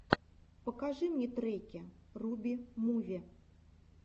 покажи мне треки руби муви